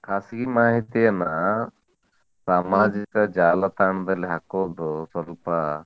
ಖಾಸಗಿ ಮಾಹಿತಿಯನ್ನ ಸಾಮಾಜಿಕ ಜಾಲತಾಣದಲ್ಲಿ ಹಾಕೋದು ಸ್ವಲ್ಪ,